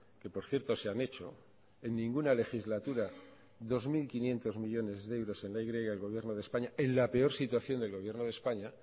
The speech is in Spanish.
que por cierto se han hecho en ninguna legislatura dos mil quinientos millónes de euros en la y el gobierno de españa en la peor situación del gobierno de españa